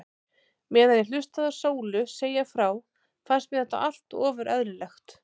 Meðan ég hlustaði á Sólu segja frá fannst mér þetta allt ofur eðlilegt.